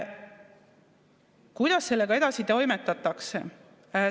Kuidas sellega edasi toimetatakse?